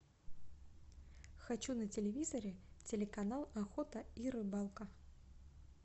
хочу на телевизоре телеканал охота и рыбалка